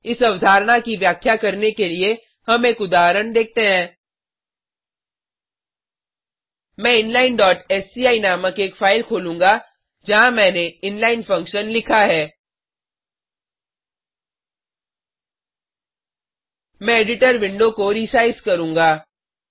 इस अवधारणा की व्याख्या करने के लिए हम एक उदाहरण देखते हैं मैं inlineसीआई नामक एक फाइल खोलूँगा जहाँ मैंने इनलाइन फंक्शन लिखा है मैं एडिटर विंडो को रिसाइज़ करूंगा